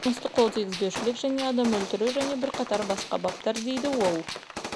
тыйым салынған олар жыныстық қол тигізбеушілік пен адам өлтіру және бірқатар басқа баптар деді ол